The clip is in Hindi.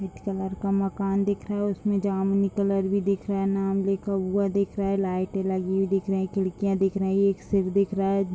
वाइट कलर का मकान दिख रहा है उसमें जामुनी कलर भी दिख रहा है नाम लिखा हुआ दिख रहा है लाइटें लगी हुई दिख रही हैं खिडकियाँ दिख रही हैं एक सिर दिख रहा है।